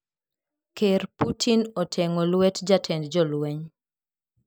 Ker Putin oteng`o lwet jatend jolweny.